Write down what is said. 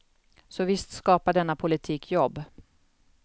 Så visst skapar denna politik jobb.